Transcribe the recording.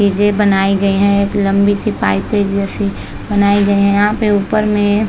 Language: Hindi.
ऐजे बनाई गयी है एक लम्बी सी पाइप है जैसे बनाई गयी है यहाँ पे ऊपर में --